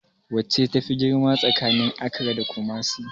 Wacce tafi girma tsakanin Accra da Kumasi?